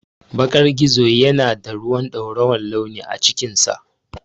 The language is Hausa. Bakan gizo yana da ruwan dorawar launi a cikinsa.